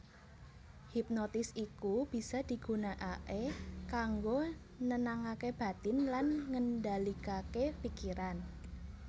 Hipnotis iku bisa digunakaké kanggo nenangaké batin lan ngendalikaké pikiran